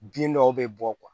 Bin dɔw bɛ bɔ